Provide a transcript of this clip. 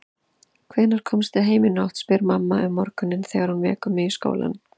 Hvenær komstu heim í nótt, spyr mamma um morguninn þegar hún vekur mig í skólann.